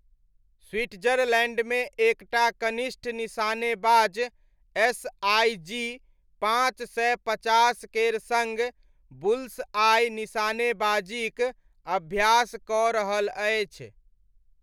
स्विट्जरलैण्डमे एक टा कनिष्ठ निशानेबाज एसआईजी पाँच सय पचास केर सङ्ग बुल्स आइ निशानेबाजीक अभ्यास कऽ रहल अछि।